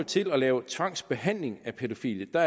til at lave tvangsbehandling af pædofile er